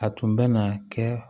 A tun bɛ na kɛ